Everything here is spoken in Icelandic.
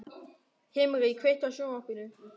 Himri, kveiktu á sjónvarpinu.